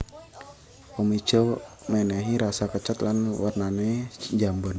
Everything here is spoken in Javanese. Omija menehi rasa kecut lan wernane njambon